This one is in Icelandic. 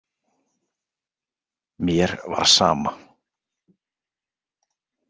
Mér var sama.